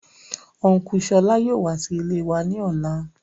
Ọn̄ku Ṣọlá yóò wá sí ilè ní ọlá.